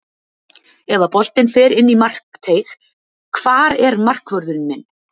Ef að boltinn fer inn í markteig, hvar er markvörðurinn minn?